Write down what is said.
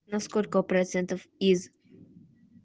на сколько процентов из